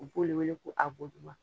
U b'o de wele ko a bɔ duman.